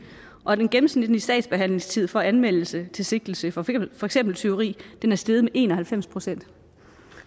og den gennemsnitlige sagsbehandlingstid fra anmeldelse til sigtelse for for eksempel tyveri er steget med en og halvfems procent